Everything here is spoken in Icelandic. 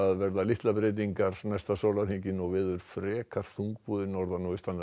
verða litlar breytingar næsta sólarhringinn og veður frekar þungbúið norðan og